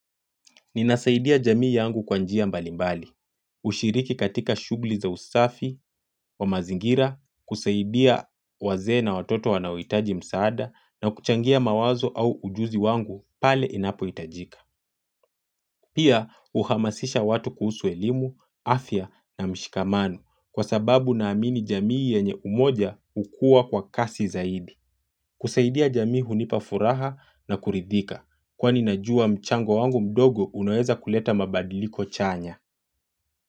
Ninasaidia jamii yangu kwa njia mbalimbali. Ushiriki katika shugli za usafi wa mazingira, kusaidia wazee na watoto wanaohitaji msaada na kuchangia mawazo au ujuzi wangu pale inapoitajika. Pia uhamasisha watu kuhusu elimu, afya na mshikamano kwa sababu naamini jamii yenye umoja hukua kwa kasi zaidi. Kusaidia jamii hunipa furaha na kuridhika kwani najua mchango wangu mdogo unaeza kuleta mabadiliko chanya.